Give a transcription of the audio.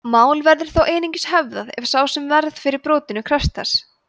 mál verður þó einungis höfðað ef sá sem varð fyrir brotinu krefst þess